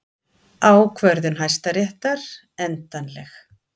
Ákvörðun Hæstaréttar endanleg